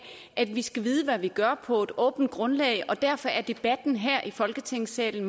at vi skal vide hvad vi gør og på et åbent grundlag derfor er debatten her i folketingssalen